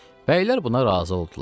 Bəylər buna razı oldular.